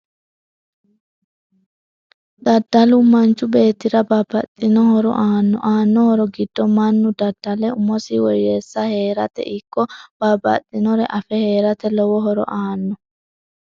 Daddalu manchu beetira babbaxino horo aano aano horo giddo mannu dadalle umusi woyeese heerate ikko babbxinore afe heerate lowo horo aanno